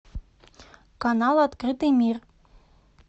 канал открытый мир